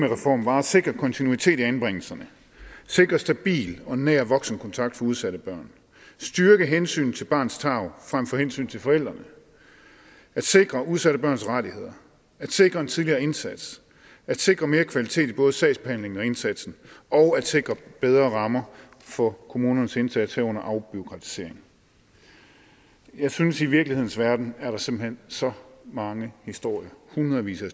reformen var at sikre kontinuitet i anbringelserne at sikre stabil og nær voksenkontakt for udsatte børn at styrke hensynet til barnets tarv frem for hensynet til forældrene at sikre udsatte børns rettigheder at sikre en tidligere indsats at sikre mere kvalitet i både sagsbehandlingen og indsatsen og at sikre bedre rammer for kommunernes indsats herunder afbureaukratisering jeg synes at i virkelighedens verden er der simpelt hen så mange historier hundredvis af